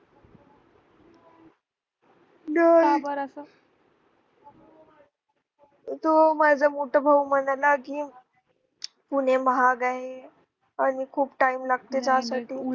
तो माझा मोठा भाऊ म्हणाला की पुणे महाग आहे आणि खूप time लागत जा साठी